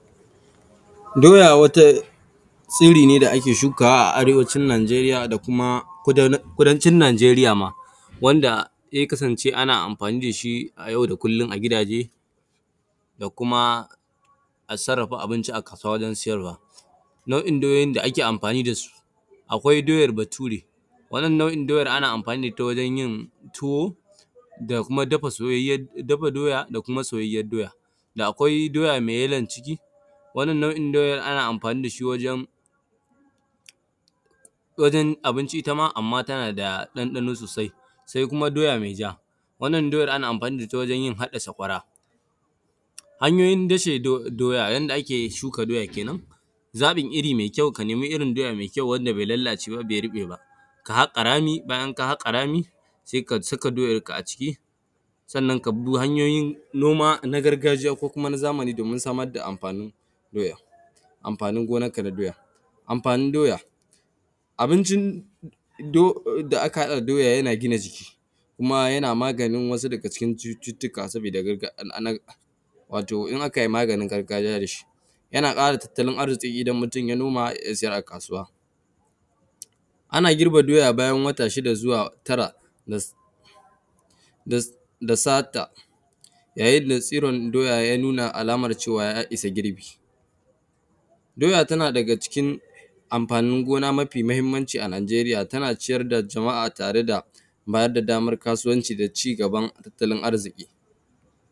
Doya wata tsiri ne da ake shukawa arewacin najeriya da kuma kudancin najeriya ma wanda zai kasance anna amfani dashi, yau da kullum a gidaje da kuma a sarrafawa abinci a kasuwa wajen sayarwa. Nau’in doyoyi da ake amfani dasu akwai doyar bature, nau’in doyan ana amfani da itta gurin tuwo da kuma dafa doya da kuma soyayyar doya. Da kwai doya mai yallon jiki wannan nau’in doyan ana amfani itta wajen abinci shima amma tana da ɗanɗano sosai. Sai kuma doya mai ja wannan doya ana amfani da itta wajen yin hadda saƙwara. Hanyoyin dashe doya yanda ake shuka doya kenan zaɓin irri mai ka nemi irri mai kyau wanda bai lalace ba bai ruɓeba, sai ka haƙa rami bayan ka rami sai ka saka doyan ka aciki sannan kabi duk hanyoyin noma na gargajiya ko kuma zamani domin samar da amfanin doyan, amfanin gonarka na doya. Amfanin doya abincin da aka haɗa da doya yana gina jiki kuma yana maganin wasu daga cikin cututtuka wato in akai maganin gargajiya dashi. Yana ƙara tatalin arziƙi idan mutun yai noma ya siyar a kasuwa, ana girbe doya bayan wata shida zuwa tara da sata yayin da tsiron doya ya nuna cewa ya issa girbi. Doya tana daga cikin amfanin gona mafi mahimmanci a najeriya tana ciyar da jama’a tare da bayar da damar kasuwanci da cigaban tattalin arziki.